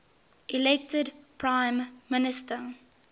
elected prime minister